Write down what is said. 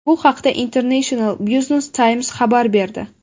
Bu haqda International Business Times xabar berdi .